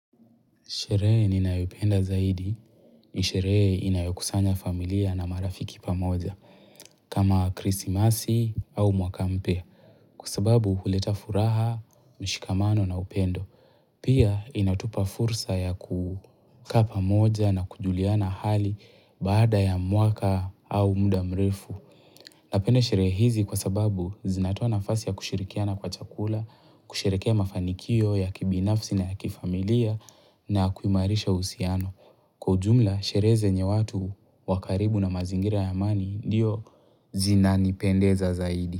Sherehe ninayoipenda zaidi. Sherehe inayokusanya familia na marafiki pamoja. Kama krismasi au mwaka mpya. Kwa sababu huleta furaha, mshikamano na upendo. Pia inatupa fursa ya kukaa pamoja na kujuliana hali baada ya mwaka au muda mrefu. Napende sherehe hizi kwa sababu zinatoa nafasi ya kushirikiana kwa chakula, kushirikia mafanikio ya kibinafsi na ya kifamilia na kuimarisha uhusiano. Kwa ujumla, sherehe zenye watu wa karibu na mazingira ya amani ndiyo zinanipendeza zaidi.